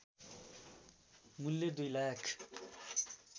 मूल्य २ लाख